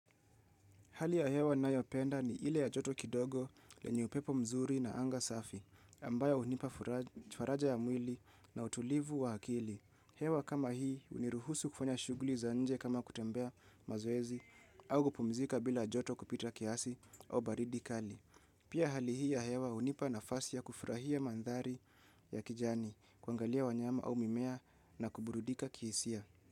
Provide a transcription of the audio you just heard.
Hali ya hewa nayoipenda ni ile ya joto kidogo lenye upepo mzuri na anga safi, ambayo unipa faraja ya mwili na utulivu wa akili. Hewa kama hii, uniruhusu kufanya shuguli za nje kama kutembea mazoezi, au kupumzika bila joto kupita kiasi au baridi kali. Pia hali hii ya hewa unipa nafasi ya kufurahia mandhari ya kijani, kuangalia wanyama au mimea na kuburudika kihisia.